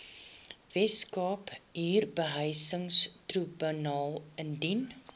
weskaapse huurbehuisingstribunaal indien